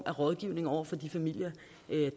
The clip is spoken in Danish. rådgivning over for de familier